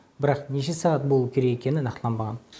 бірақ неше сағат болу керек екені нақтыланбаған